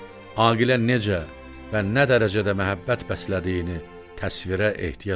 Aqilə necə və nə dərəcədə məhəbbət bəslədiyini təsvirə ehtiyac yoxdur.